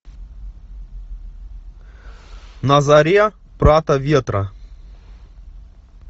на заре прата ветра